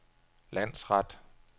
landsret